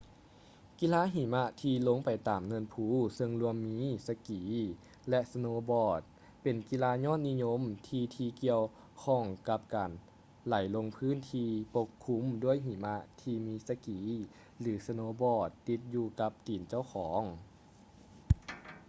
ກິລາຫິມະທີ່ລົງໄປຕາມເນີນພູເຊິ່ງລວມມີ ສະກີ ແລະ ສະໂນບອດ ເປັນກິລາຍອດນິຍົມທີ່ທີ່ກ່ຽວຂ້ອງກັບການໄຫຼລົງພຶ້ນທີ່ປົກຄຸມດ້ວຍຫິມະທີ່ມີສະກີ ຫຼື ສະໂນບອດ ຕິດຢູ່ກັບຕີນຂອງເຈົ້າ